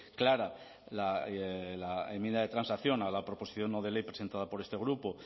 clara la enmienda de transacción a la proposición no de ley presentada por este grupo